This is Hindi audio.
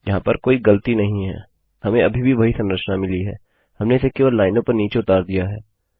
यहाँ पर कोई गलती नहीं है हमें अभी भी वही संरचना मिली है हमने इसे केवल लाइनों पर नीचे उतार दिया है